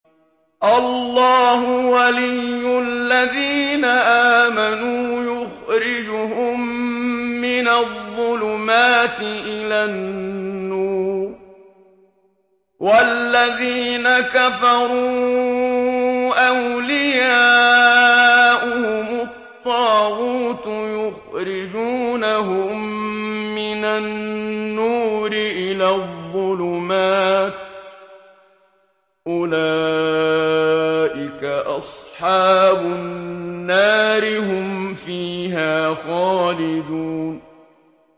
اللَّهُ وَلِيُّ الَّذِينَ آمَنُوا يُخْرِجُهُم مِّنَ الظُّلُمَاتِ إِلَى النُّورِ ۖ وَالَّذِينَ كَفَرُوا أَوْلِيَاؤُهُمُ الطَّاغُوتُ يُخْرِجُونَهُم مِّنَ النُّورِ إِلَى الظُّلُمَاتِ ۗ أُولَٰئِكَ أَصْحَابُ النَّارِ ۖ هُمْ فِيهَا خَالِدُونَ